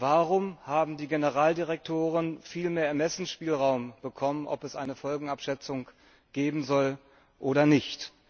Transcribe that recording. Warum haben die Generaldirektoren viel mehr Ermessensspielraum bekommen, ob es eine Folgenabschätzung geben soll oder nicht?